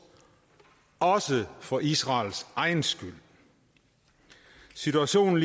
også for israels egen skyld situationen